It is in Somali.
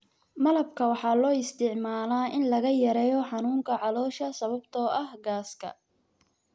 Malabka waxaa loo isticmaalaa in lagu yareeyo xanuunka caloosha sababtoo ah gaaska.